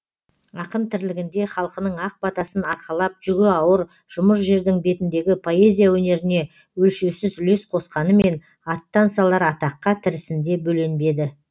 ақын тірлігінде халқының ақ батасын арқалап жүгі ауыр жұмыр жердің бетіндегі поэзия өнеріне өлшеусіз үлес қосқанымен аттан салар атаққа тірісінде бөленбеді